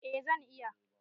Eh zan iya.